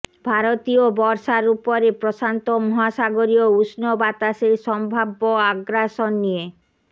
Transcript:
ভারতীয় বর্ষার উপরে প্রশান্ত মহাসাগরীয় উষ্ণ বাতাসের সম্ভাব্য আগ্রাসন নিয়ে